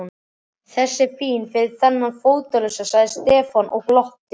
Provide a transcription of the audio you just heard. Þessi er fín fyrir þennan fótalausa sagði Stefán og glotti.